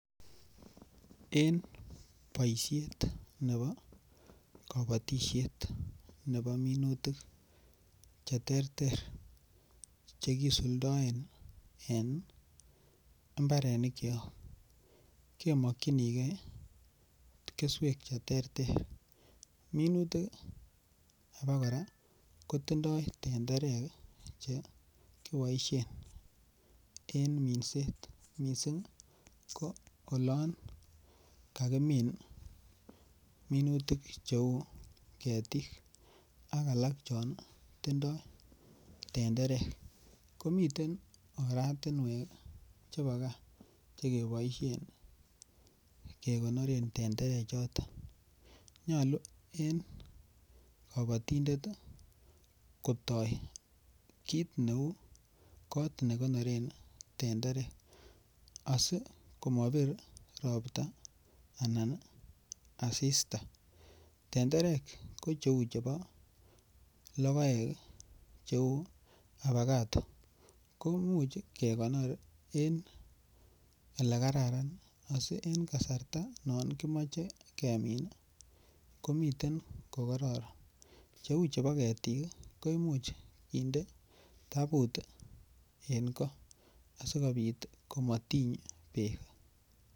En boisiet nebo kabatisiet nebo minutik Che terter Che kisuldaen en mbarenikyok kemokyinige keswek Che terter minutik abakora kotindoi tenderek Che kiboisien en minset mising ko olon kakimin minutik cheu ketik ak alak chon tindoi tenderek komiten oratinwek chebo gaa Che keboisien kegonoren tenderechoton nyolu en kabatindet kotoi kit neu kot ne konoren tenderek asi komo bir Ropta anan asista tenderek ko cheu chebo logoek Che avacado komuch kekonor en Ole Kararan asi en kasarta non kimoche kemin komiten ko kororon cheu chebo ketik koimuch kinde tabut en goo asikobit komotiny bek